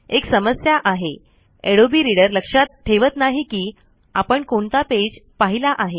एक समस्या आहे अडोबे रीडर लक्षात ठेवत नाही कि आपण कोणता पेज पहिला आहे